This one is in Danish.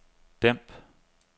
dæmp